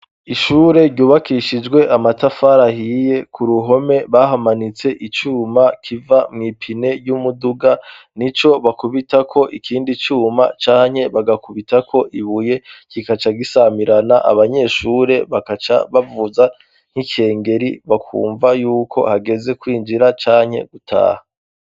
Ishure ryubakishijwe amatafari ahiye. K'uruhome bahamanitse icuma kiva mw'ipine ry'umuduga, n'ico bakubitako ikindi cuma canke bagakubitako ibuye, kigaca gisamirana, abanyeshure bagaca bavuza nk'icengeri bakumva y'uko hageze kwinjira canke gutaha.